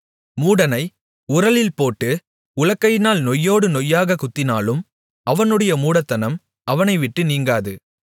மூடனை உரலில் போட்டு உலக்கையினால் நொய்யோடு நொய்யாகக் குத்தினாலும் அவனுடைய மூடத்தனம் அவனை விட்டு நீங்காது